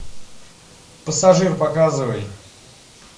пассажир показывай